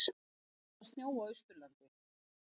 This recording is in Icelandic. Farið að snjóa á Austurlandi